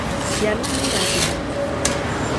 Ciana nĩ irathimo gwitũ